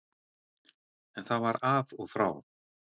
En það var af og frá.